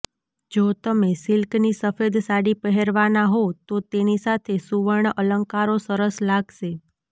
જો તમે સિલ્કની સફેદ સાડી પહેરવાના હો તો તેની સાથે સુવર્ણ અલંકારો સરસ લાગશે